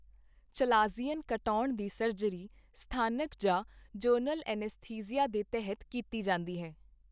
Chalazion ਕਟਾਉਣ ਦੀ surgery ਸਥਾਨਕ ਜਾਂ ਜਨਰਲ ਐੱਨਸਥੀਸੀਆ ਦੇ ਤਹਿਤ ਕੀਤੀ ਜਾਂਦੀ ਹੈ।